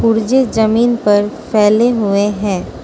पुर्जे जमीन पर फैले हुए हैं।